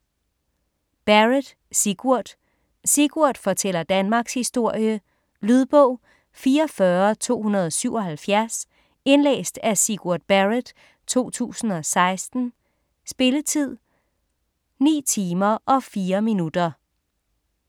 Barrett, Sigurd: Sigurd fortæller danmarkshistorie Lydbog 44277 Indlæst af Sigurd Barrett, 2016. Spilletid: 9 timer, 4 minutter.